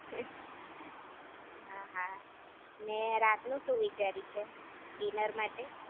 હા હા ને રાત નું શું વિચાર્યું છે, ડિનર માટે